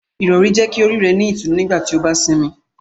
Irọri jẹ ki ori rẹ ni itunu nigbati o ba sinmi.